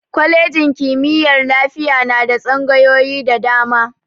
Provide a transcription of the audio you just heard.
Kwalejin kimiyyar lafiya na da tsangayoyi da dama.